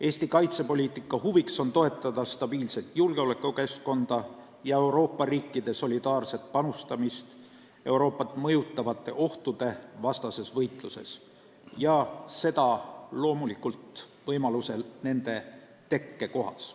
Eesti kaitsepoliitika huvides on toetada stabiilset julgeolekukeskkonda ja Euroopa riikide solidaarset panustamist Euroopat mõjutavate ohtude vastases võitluses, ja seda loomulikult võimaluse korral nende tekkekohas.